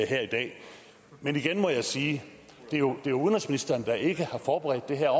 her i dag men igen må jeg sige at det jo er udenrigsministeren der ikke har forberedt det her